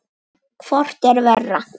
Hvort er verra?